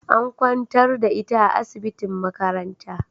An kwantar da ita a asibitin makaranta